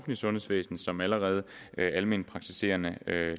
sundhedsvæsen som allerede alment praktiserende